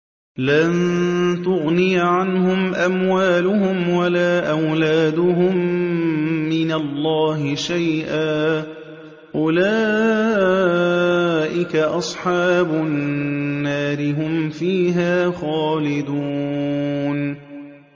لَّن تُغْنِيَ عَنْهُمْ أَمْوَالُهُمْ وَلَا أَوْلَادُهُم مِّنَ اللَّهِ شَيْئًا ۚ أُولَٰئِكَ أَصْحَابُ النَّارِ ۖ هُمْ فِيهَا خَالِدُونَ